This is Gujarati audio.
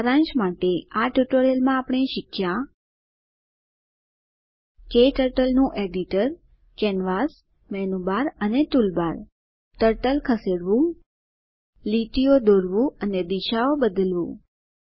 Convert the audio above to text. સારાંશ માટે આ ટ્યુટોરીયલ માં આપણે શીખ્યા ક્ટર્ટલ નું editor canvas menu bar and toolbar turtle ખસેડવું લીટીઓ દોરવું અને દિશાઓ બદલવું